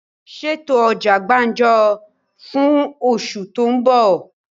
Ṣètò ọjà gbàǹjo fún osù tó ń bọ̀!